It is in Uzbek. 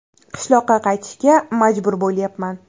Qishloqqa qaytishga majbur bo‘lyapman.